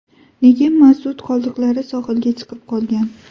Nega mazut qoldiqlari sohilga chiqib qolgan?